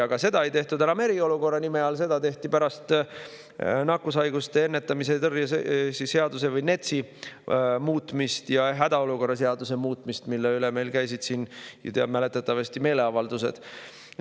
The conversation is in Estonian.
Aga seda ei tehtud enam eriolukorra nime all, seda tehti pärast nakkushaiguste ennetamise ja tõrje seaduse ehk NETS-i ja hädaolukorra seaduse muutmist, mille üle meil käisid siin mäletatavasti meeleavaldused.